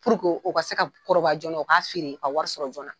u ka se ka kɔrɔbaya jɔna , u ka feere ka wari sɔrɔ jɔna.